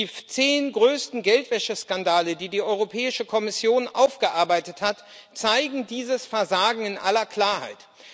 Die zehn größten Geldwäscheskandale, die die Europäische Kommission aufgearbeitet hat, zeigen dieses Versagen in aller Klarheit.